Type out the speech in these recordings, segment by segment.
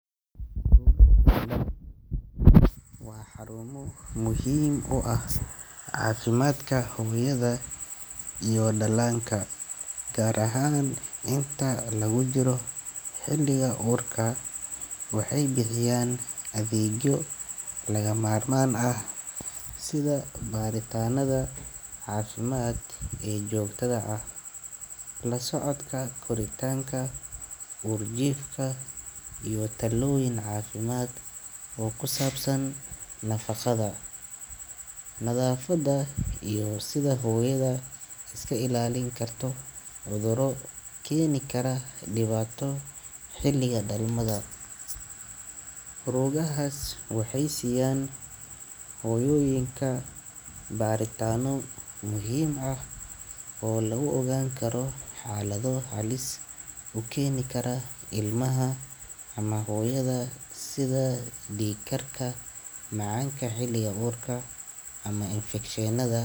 Rugaha dhalmada kahor waa xarumo muhiim u ah caafimaadka hooyada iyo dhallaanka, gaar ahaan inta lagu jiro xilliga uurka. Waxay bixiyaan adeegyo lagama maarmaan ah sida baaritaanada caafimaad ee joogtada ah, la socodka koritaanka uurjiifka, iyo talooyin caafimaad oo ku saabsan nafaqada, nadaafadda iyo sida hooyada iskaga ilaalin karto cudurada keeni kara dhibaato xilliga dhalmada. Rugahaas waxay siiyaan hooyooyinka baaritaanno muhiim ah oo lagu ogaan karo xaalado halis u keeni kara ilmaha ama hooyada sida dhiig karka, macaanka xilliga uurka, ama infekshannada.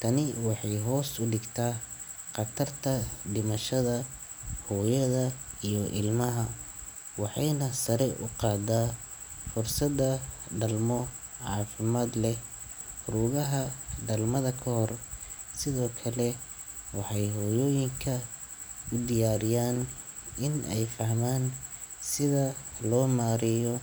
Tani waxay hoos u dhigtaa khatarta dhimashada hooyada iyo ilmaha, waxayna sare u qaadaa fursadda dhalmo caafimaad leh. Rugaha dhalmada kahor sidoo kale waxay hooyooyinka u diyaariyaan in ay fahmaan sida loo maareeyo.